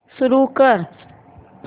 सुरू कर